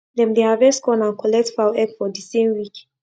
dem dey harvest corn and collect fowl egg for the same week